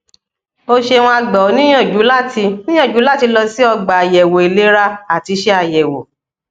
o ṣeuna gba ọ niyanju lati niyanju lati lọ si er gba ayẹwo ilera ati ṣe ayẹwo